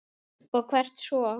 Og hvert svo?